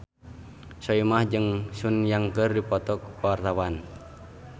Soimah jeung Sun Yang keur dipoto ku wartawan